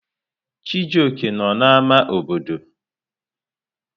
Chijioke nọ n'ámá obodo.